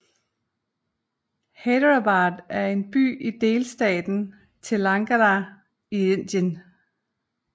Hyderabad er en by i delstaten Telangana i Indien